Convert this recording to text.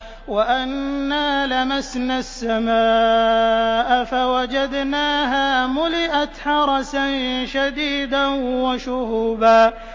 وَأَنَّا لَمَسْنَا السَّمَاءَ فَوَجَدْنَاهَا مُلِئَتْ حَرَسًا شَدِيدًا وَشُهُبًا